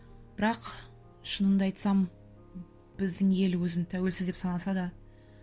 бірақ шынымды айтсам біздің ел өзін тәуелсіз деп санаса да